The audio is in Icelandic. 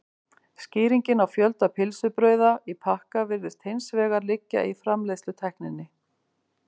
skýringin á fjölda pylsubrauða í pakka virðist hins vegar liggja í framleiðslutækninni